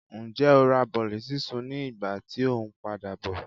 njẹ o ra bolí sisún ní ìgbà tí o n padabọ?